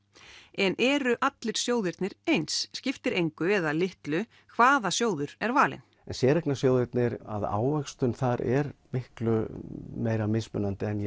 en eru allir sjóðirnir eins skiptir engu eða litlu hvaða sjóður er valinn séreignarsjóðirnir ávöxtun þar er miklu meira mismunandi en ég